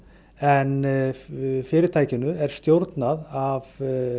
en fyrirtækinu er stjórnað af